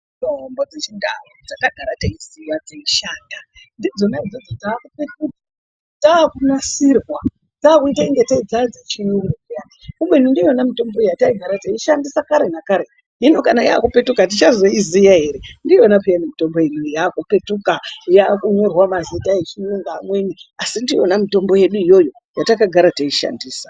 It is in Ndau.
Mitombo dzechiNdau dzatagara teiziya dzeishanda, ndidzona idzodzo dzaakupetuka. Dzaakunasirwa, dzaakuita ingatei dzaadzechiyungu peya. Kubeni ndiyona mutombo yataigara teishandisa kare nakare. Hino yaakupetuka tichazoiziya ere? Ndiyona peyani mitombo yedu iyoyo yaakunyorwa mazita echiyungu amweni, asi ndiyona mitombo yedu iyoyo yatakagara teishandisa.